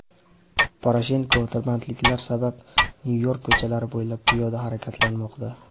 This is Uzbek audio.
Poroshenko tirbandliklar sabab Nyu-York ko‘chalari bo‘ylab piyoda harakatlanmoqda.